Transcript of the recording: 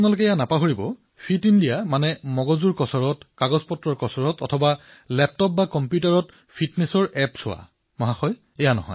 কিন্তু এয়া নাপাহৰিব যে ফিট ইণ্ডিয়াৰ অৰ্থ কেৱল মগজুৰ কচৰৎ কাগজৰ কচৰৎ অথবা লেপটপ বা কম্পিউটাৰ বা মবাইল ফোনত ফিটনেচৰ এপ চাই থকা নহয়